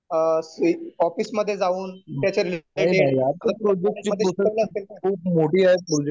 Office मध्ये जाऊन. त्याच्या रिलेटेड